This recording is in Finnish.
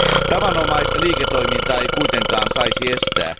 Tavanomaista liiketoimintaa ei kuitenkaan saisi estää.